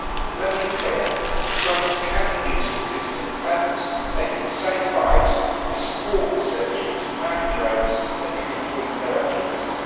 Let me be clear, drones can be used for legitimate defence they can save lives. We support research into manned drones that can improve their accuracy.